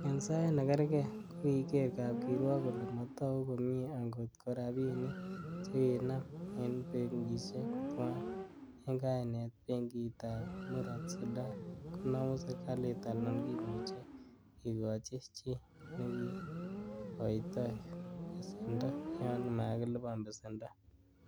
En sait nekerge, kokiger kapkirwok kole motogu komie angot ko rabinik chekikinam en benkisiek tuan, en kainet benkitab Murot Sudan konomu serkalit alan kimuche kikochi chi nekikoitoi besendo yon makilipan besendo.